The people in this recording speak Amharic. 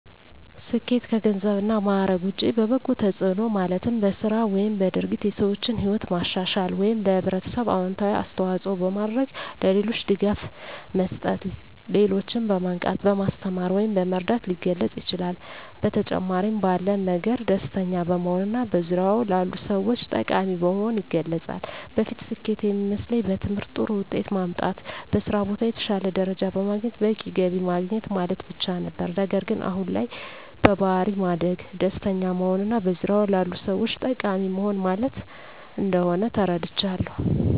ስኬት ከገንዘብ እና ማዕረግ ውጭ በበጎ ተጽዕኖ ማለትም በሥራ ወይም በድርጊት የሰዎችን ሕይወት ማሻሻል ወይም ለኅብረተሰብ አዎንታዊ አስተዋፅዖ በማድረግ፣ ለሌሎች ድጋፍ መስጠት፣ ሌሎችን በማንቃት፣ በማስተማር ወይም በመርዳት ሊገለፅ ይችላል። በተጨማሪም ባለን ነገር ደስተኛ በመሆንና በዙሪያዎ ላሉ ሰዎች ጠቃሚ በመሆን ይገለፃል። በፊት ስኬት የሚመስለኝ በትምህርት ጥሩ ውጤት ማምጣት፣ በስራ ቦታ የተሻለ ደረጃ በማግኘት በቂ ገቢ ማግኘት ማለት ብቻ ነበር። ነገር ግን አሁን ላይ በባሕሪ ማደግ፣ ደስተኛ መሆንና በዙሪያዎ ላሉ ሰዎች ጠቃሚ መሆን ማለት እንደሆን ተረድቻለሁ።